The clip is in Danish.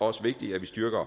også vigtigt at vi styrker